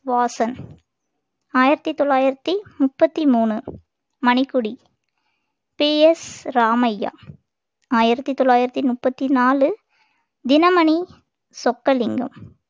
வாசன் ஆயிரத்தி தொள்ளாயிரத்தி முப்பத்தி மூணு மணிக்கொடி பி எஸ் ராமையா ஆயிரத்தி தொள்ளாயிரத்தி முப்பத்தி நாலு தினமணி சொக்கலிங்கம்